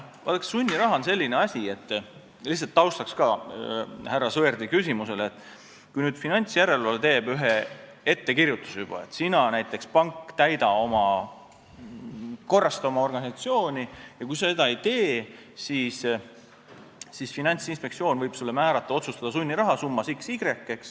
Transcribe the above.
Vaadake, sunniraha on selline asi – lihtsalt härra Sõerdi küsimuse taustaks –, et finantsjärelevalve teeb ettekirjutuse, et sina, näiteks pank, korrasta oma organisatsiooni ja kui sa seda ei tee, siis Finantsinspektsioon võib otsustada sunniraha summas x või y.